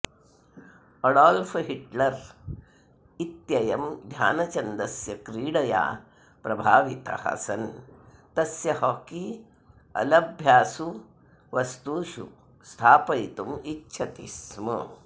Adolf Hitler इत्ययं ध्यानचन्दस्य क्रीडया प्रभावितः सन् तस्य हॉकी अलभ्यासु वस्तुषु स्थापयितुम् इच्छति स्म